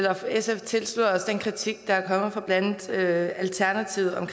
at sf tilslutter sig den kritik der er kommet fra blandt andet alternativet om